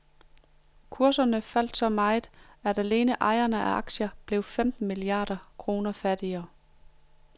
Kurserne faldt så meget, at alene ejerne af aktier blev femten milliarder kroner fattigere.